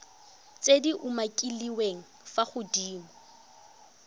tse di umakiliweng fa godimo